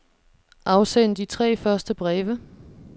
Afsend de tre første breve.